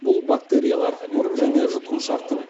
бұл бактериялар мұрын және жұтқыншақтың